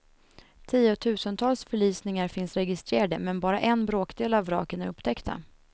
Tiotusentals förlisningar finns registrerade, men bara en bråkdel av vraken är upptäckta.